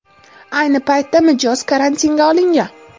Ayni paytda mijoz karantinga olingan.